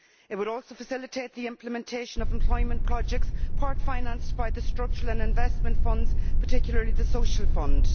It would also facilitate the implementation of employment projects part financed by the structural and investment funds, particularly the Social Fund.